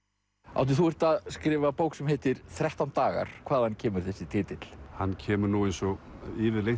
Árni þú ert að skrifa bók sem heitir þrettán dagar hvaðan kemur þessi titill hann kemur nú eins og yfirleitt